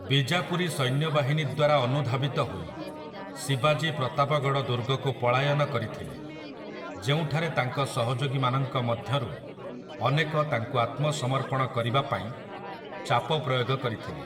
ବିଜାପୁରୀ ସୈନ୍ୟବାହିନୀ ଦ୍ୱାରା ଅନୁଧାବିତ ହୋଇ, ଶିବାଜୀ ପ୍ରତାପଗଡ଼ ଦୁର୍ଗକୁ ପଳାୟନ କରିଥିଲେ, ଯେଉଁଠାରେ ତାଙ୍କ ସହଯୋଗୀମାନଙ୍କ ମଧ୍ୟରୁ ଅନେକ ତାଙ୍କୁ ଆତ୍ମସମର୍ପଣ କରିବା ପାଇଁ ଚାପ ପ୍ରୟୋଗ କରିଥିଲେ ।